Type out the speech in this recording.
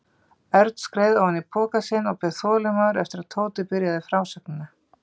Örn skreið ofan í pokann sinn og beið þolinmóður eftir að Tóti byrjaði frásögnina.